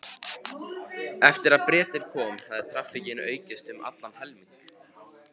Eftir að Bretinn kom hafði traffíkin aukist um allan helming.